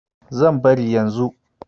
Zan bari yanzu kuwa.